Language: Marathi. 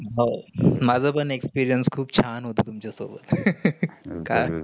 हो. माझापण experience खूप छान होतं तुमचा सोबत. कारण